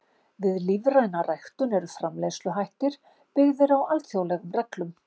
Við lífræna ræktun eru framleiðsluhættir byggðir á alþjóðlegum reglum.